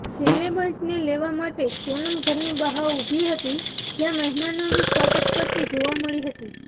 સેલેબ્સને લેવા માટે સોનમ ઘરની બહા ઉભી હતી જ્યાં મહેમાનોનું સ્વાગત કરતી જોવા મળી હતી